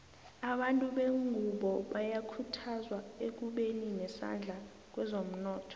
abantu bengunbo bayakhuthazwa ekubeni nesandla kwezomnotho